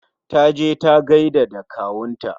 Ta je ta gaida da kawunta.